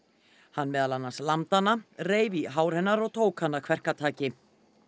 hann meðal annars lamdi hana reif í hár hennar og tók hana kverkataki